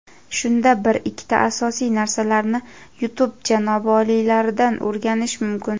Shunda bir ikkita asosiy narsalarni YouTube janobi oliylaridan o‘rganish mumkin.